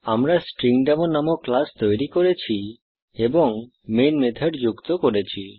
আমরা স্ট্রিংডেমো নামক ক্লাস তৈরি করেছি এবং মেন মেথড যুক্ত করেছি